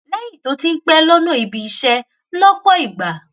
léyìn tó ti ń pé lọnà ibi iṣé lópò ìgbà